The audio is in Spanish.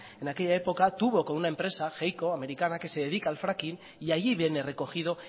en aquella época tuvo con una empresa heyco americana que se dedica a fracking y allí viene recogido